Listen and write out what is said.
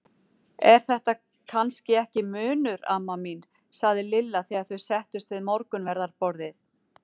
Er þetta kannski ekki munur amma mín? sagði Lilla þegar þau settust við morgunverðarborðið.